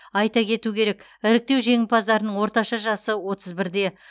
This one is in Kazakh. айта кету керек іріктеу жеңімпаздарының орташа жасы отыз бірде